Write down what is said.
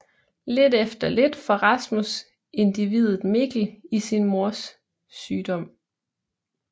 Lidt efter lidt får Rasmus indviet Mikkel i sin mors sygdom